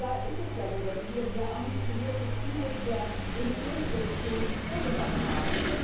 Und da ist es ja so, dass wir uns sehr ambitionierte Ziele für die Emissionsreduktion vorgenommen haben.